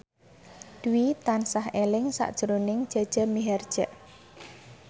Dwi tansah eling sakjroning Jaja Mihardja